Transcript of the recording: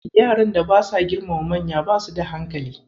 Yaran da basa girmama manya basu da hankali.